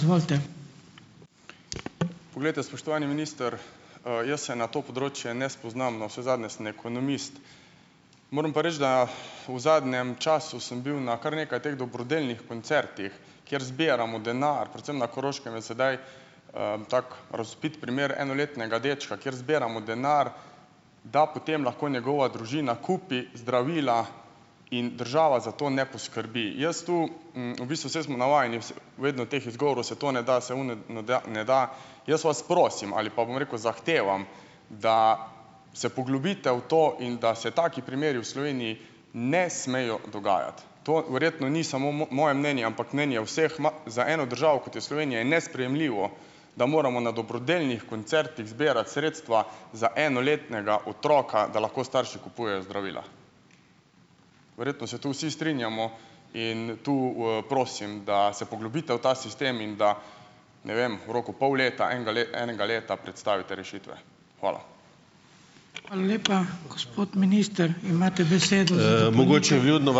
Poglejte, spoštovani minister, jaz se na to področje ne spoznam, navsezadnje sem ekonomist. Moram pa reči, da v zadnjem času sem bil na kar nekaj teh dobrodelnih koncertih, kjer zbiramo denar, predvsem na Koroškem je sedaj, tako razvpit primer enoletnega dečka, kjer zbiramo denar, da potem lahko njegova družina kupi zdravila in država za to ne poskrbi. Jaz tu ... v bistvu saj smo navajeni vedno teh izgovorov: se to ne da, se ono ne da, ne da. Jaz vas prosim, ali pa, bom rekel, zahtevam, da se poglobite v to in da se taki primeri v Sloveniji ne smejo dogajati. To verjetno ni samo moje mnenje, ampak mnenje vseh. Za eno državo kot je Slovenija, je nesprejemljivo, da moramo na dobrodelnih koncertih zbirati sredstva za enoletnega otroka, da lahko starši kupujejo zdravila. Verjetno se tu vsi strinjamo in tu, prosim, da se poglobite v ta sistem in da, ne vem, v roku pol leta, enega enega leta predstavite rešitve. Hvala.